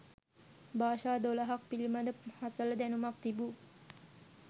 භාෂා දොළහක් පිළිබඳ හසල දැනුමක් තිබු